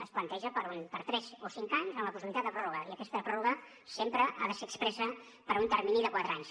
es planteja per a tres o cinc anys amb la possibilitat de pròrroga i aquesta pròrroga sempre ha de ser expressa per a un termini de quatre anys